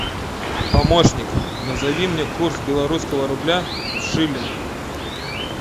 помощник назови мне курс белорусского рубля в шиллинг